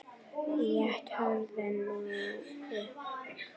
Lét hurðina snúa upp.